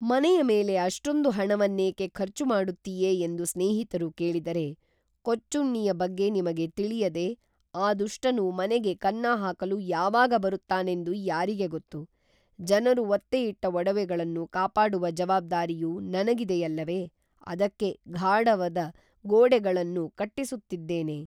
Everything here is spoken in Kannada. ಮನೆಯ ಮೇಲೆ ಅಷ್ಟೊಂದು ಹಣವನ್ನೇಕೇ ಖರ್ಚು ಮಾಡುತ್ತೀಯೆ ಎಂದು ಸ್ನೇಹಿತರು ಕೇಳಿದರೆ ಕೊಚ್ಚುಣ್ಣಿಯ ಬಗ್ಗೆ ನಿಮಗೆ ತಿಳಿಯದೇ ಆ ದುಷ್ಟನು ಮನೆಗೆ ಕನ್ನಹಾಕಲು ಯಾವಾಗ ಬರುತ್ತಾನೆಂದು ಯಾರಿಗೆ ಗೊತ್ತು, ಜನರು ಒತ್ತೆಯಿಟ್ಟ ಒಡವೆಗಳನ್ನು ಕಾಪಾಡುವ ಜವಾಬ್ದಾರಿಯು ನನಗಿದೆಯಲ್ಲವೆ ಅದಕ್ಕೆ ಘಾಡವದ ಗೋಡೆಗಳನ್ನು ಕಟ್ಟಿಸುತ್ತಿದ್ದೇನೆ